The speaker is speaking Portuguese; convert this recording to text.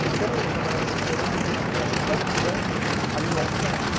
Então, eu trabalhava de empregado na rua Potsdam, ali no alto da Lapa.